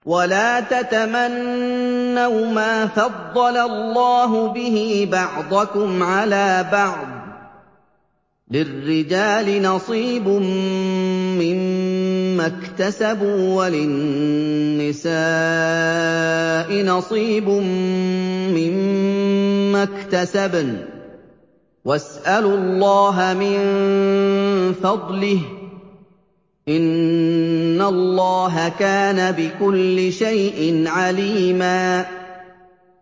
وَلَا تَتَمَنَّوْا مَا فَضَّلَ اللَّهُ بِهِ بَعْضَكُمْ عَلَىٰ بَعْضٍ ۚ لِّلرِّجَالِ نَصِيبٌ مِّمَّا اكْتَسَبُوا ۖ وَلِلنِّسَاءِ نَصِيبٌ مِّمَّا اكْتَسَبْنَ ۚ وَاسْأَلُوا اللَّهَ مِن فَضْلِهِ ۗ إِنَّ اللَّهَ كَانَ بِكُلِّ شَيْءٍ عَلِيمًا